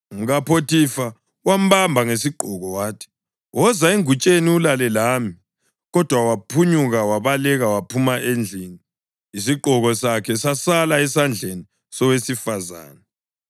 UmkaPhothifa wambamba ngesigqoko wathi, “Woza engutsheni ulale lami!” Kodwa waphunyuka wabaleka waphuma endlini, isigqoko sakhe sasala esandleni sowesifazane.